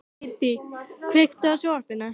Hedí, kveiktu á sjónvarpinu.